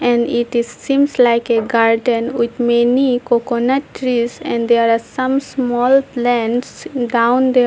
And it is seems like a garden with many coconut trees and there are some small plants down there.